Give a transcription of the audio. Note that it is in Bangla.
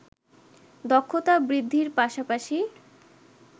দক্ষতা বৃদ্ধির পাশাপাশি